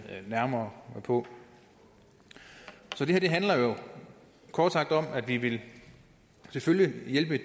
nærmere på så det her handler jo kort sagt om at vi vi selvfølgelig vil hjælpe